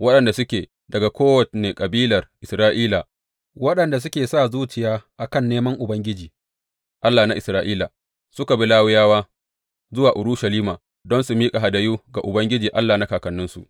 Waɗanda suke daga kowane kabilar Isra’ila waɗanda suka sa zuciya a kan neman Ubangiji, Allah na Isra’ila, suka bi Lawiyawa zuwa Urushalima don su miƙa hadayu ga Ubangiji Allah na kakanninsu.